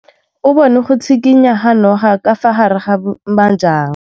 O bone go tshikinya ga noga ka fa gare ga majang.